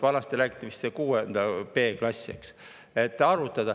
Vanasti räägiti vist, et see on 6.b klass, eks.